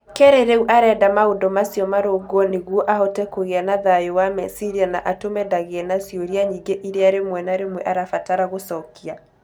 Kerre rĩu arenda maũndũ macio marũngwo nĩguo ahote kũgĩa na thayũ wa meciria na atũme ndagĩe na ciũria nyingĩ iria rĩmwe na rĩmwe arabatara gũcokia.